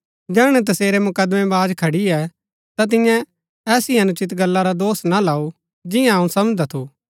जैहणै तसेरै मुकदमेवाज खड़ियै ता तिन्ये ऐसी अनुचित गल्ला रा दोष ना लाऊ जिंआं अऊँ समझदा थु